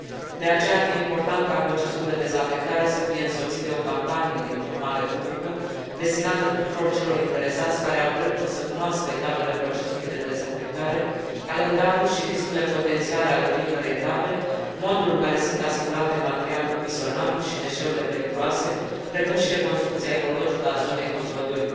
De aceea, ar fi important ca procesul de dezafectare să fie însoțit de o campanie de informare publică destinată tuturor celor interesați care au dreptul să cunoască etapele procesului de dezafectare, calendarul și riscurile potențiale ale fiecărei etape, modul în care sunt asigurate materialul fisionabil și deșeurile periculoase, precum și reconstrucția ecologică a zonei Kozlodui.